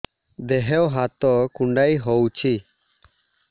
ଦେହ ହାତ କୁଣ୍ଡାଇ ହଉଛି